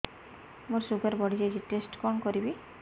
ମୋର ଶୁଗାର ବଢିଯାଇଛି ଟେଷ୍ଟ କଣ କରିବି